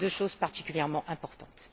deux choses particulièrement importantes.